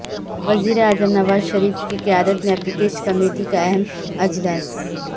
وزیراعظم نواز شریف کی قیادت میں اپیکس کمیٹی کا اہم اجلاس